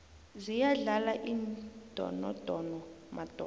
ziyadlala iindonodono madoda